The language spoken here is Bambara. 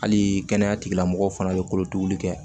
Hali kɛnɛya tigilamɔgɔw fana bɛ kolotuguli kɛ